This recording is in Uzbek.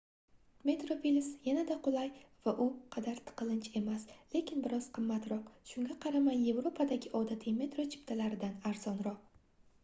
metroplus yanada qulay va u qadar tiqilinch emas lekin bir oz qimmatroq shunga qaramay yevropadagi odatiy metro chiptalaridan arzonroq